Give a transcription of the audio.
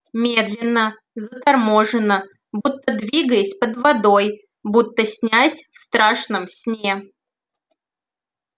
медленно заторможенно будто двигаясь под водой будто снясь в страшном сне